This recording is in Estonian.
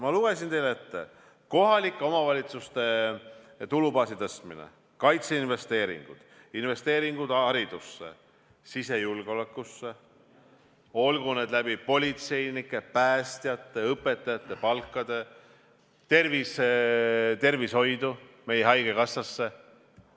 Ma lugesin teile ette: kohalike omavalitsuste tulubaasi tõstmine, kaitseinvesteeringud, investeeringud haridusse, sisejulgeolekusse, olgu need politseinike, päästjate, õpetajate palkade kaudu, investeeringud tervishoidu, meie haigekassasse.